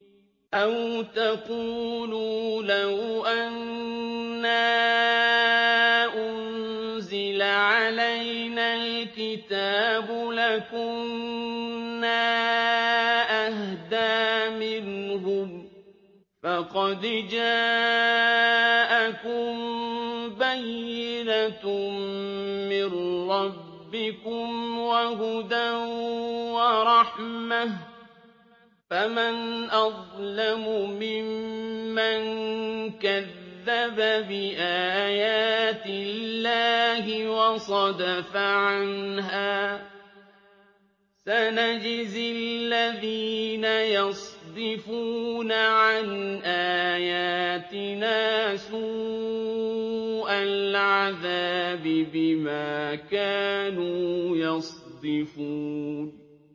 أَوْ تَقُولُوا لَوْ أَنَّا أُنزِلَ عَلَيْنَا الْكِتَابُ لَكُنَّا أَهْدَىٰ مِنْهُمْ ۚ فَقَدْ جَاءَكُم بَيِّنَةٌ مِّن رَّبِّكُمْ وَهُدًى وَرَحْمَةٌ ۚ فَمَنْ أَظْلَمُ مِمَّن كَذَّبَ بِآيَاتِ اللَّهِ وَصَدَفَ عَنْهَا ۗ سَنَجْزِي الَّذِينَ يَصْدِفُونَ عَنْ آيَاتِنَا سُوءَ الْعَذَابِ بِمَا كَانُوا يَصْدِفُونَ